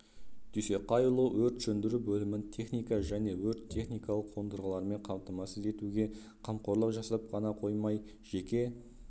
дүйсеқайұлы өрт сөндіру бөлімін техника және өрт-техникалық қондырғылармен қамтамасыз етуге қамқорлық жасап ғана қоймай жеке